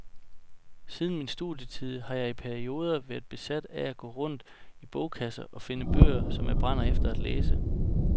Siden min studietid har jeg i perioder været besat af at gå rundt i bogkasser og finde bøger, som jeg brænder efter at læse.